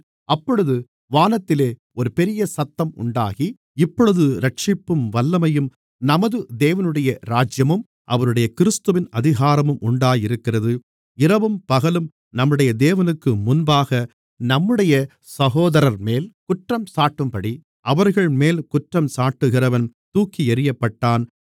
அப்பொழுது வானத்திலே ஒரு பெரியசத்தம் உண்டாகி இப்பொழுது இரட்சிப்பும் வல்லமையும் நமது தேவனுடைய ராஜ்யமும் அவருடைய கிறிஸ்துவின் அதிகாரமும் உண்டாயிருக்கிறது இரவும் பகலும் நம்முடைய தேவனுக்குமுன்பாக நம்முடைய சகோதரர்மேல் குற்றஞ்சாட்டும்படி அவர்கள்மேல் குற்றஞ்சாட்டுகிறவன் தூக்கி எறியப்பட்டான்